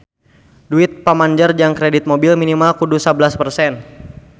Duit pamanjer jang kredit mobil minimal kudu sabelas persen